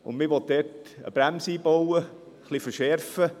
Man will dort eine Bremse einbauen, ein bisschen verschärfen.